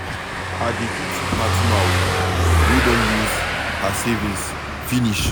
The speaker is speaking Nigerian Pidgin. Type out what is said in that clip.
I dey pity Fatima wey Don use her savings finish.